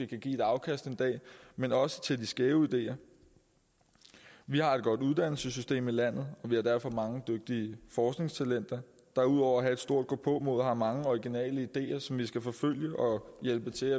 kan give et afkast en dag men også til de skæve ideer vi har et godt uddannelsessystem i landet vi har derfor mange dygtige forskningstalenter der ud over at have et stort gåpåmod har mange originale ideer som vi skal forfølge og hjælpe til